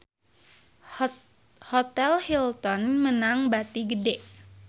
Hotel Hilton meunang bati gede